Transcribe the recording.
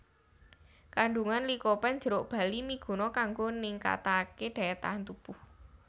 Kandungan likopen jeruk bali miguna kanggo ningkataké daya tahan tubuh